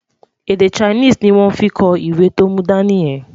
Èdè Chinese ní wón fí kò ìwé tó mú dání yen